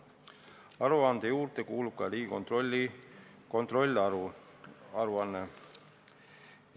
Aruande juurde kuulub ka Riigikontrolli kontrollaruanne.